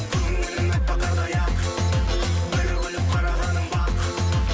көңілім әппақ қардай ақ бір күліп қарағаның бақ